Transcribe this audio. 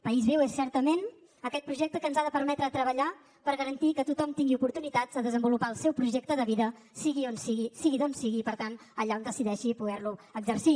país viu és certament aquest projecte que ens ha de permetre treballar per garantir que tothom tingui oportunitats de desenvolupar el seu projecte de vida sigui on sigui sigui d’on sigui i per tant allà on decideixi poder lo exercir